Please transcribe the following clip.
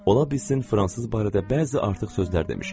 Ola bilsin fransız barədə bəzi artıq sözlər demişəm.